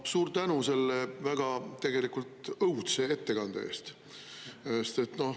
Suur tänu selle väga tegelikult õudse ettekande eest!